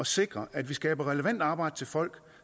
sikre at vi skaber relevant arbejde til folk